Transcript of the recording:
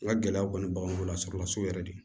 N ka gɛlɛyaw kɔni b'anw bolo lasɔrɔlasuru yɛrɛ de